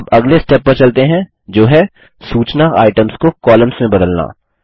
अब अगले स्टेप पर चलते हैं जो है सूचना आइटम्स को कॉलम्स में बदलना